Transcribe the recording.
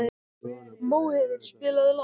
Móheiður, spilaðu lag.